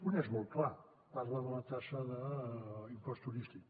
un és molt clar parla de la taxa d’impost turístic